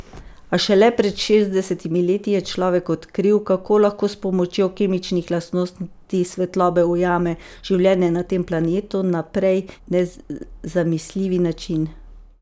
A šele pred šestdesetimi leti je človek odkril, kako lahko s pomočjo kemičnih lastnosti svetlobe ujame življenje na tem planetu na prej nezamisljivi način.